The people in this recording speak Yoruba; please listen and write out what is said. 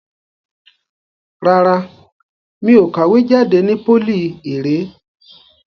Rárá, mi ò kàwé jade ni pólì ìré.